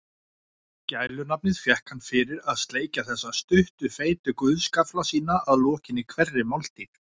Gælunafnið fékk hann fyrir að sleikja þessa stuttu feitu guðsgaffla sína að lokinni hverri máltíð.